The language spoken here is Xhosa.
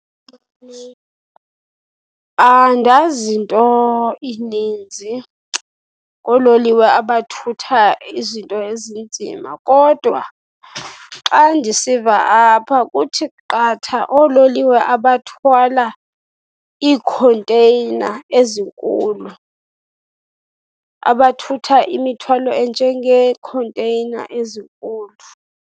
Andazi nto ininzi ngoololiwe abathutha izinto ezinzima kodwa xa ndisiva apha kuthi qatha oololiwe abathwala iikhonteyina ezinkulu, abathutha imithwalo enjengeekhonteyina ezinkulu.